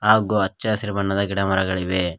ಹಾಗು ಅಚ್ಚಹಸಿರು ಬಣ್ಣದ ಗಿಡ ಮರಗಳಿವೆ.